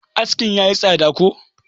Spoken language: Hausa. askin ya yi tsada ko?